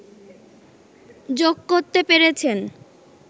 যোগ করতে পেরেছেন